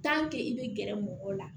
tanke i be gɛrɛ mɔgɔw la